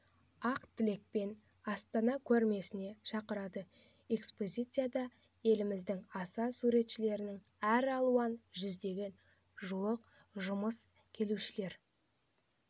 ақ тілекпен астана көрмесіне шақырады экспозицияда еліміздің аса суретшісінің әр алуан жүзге жуық жұмысы келушілер